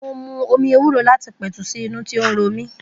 Mo mu omi ewúro láti pètù sí inú tí ó ń romí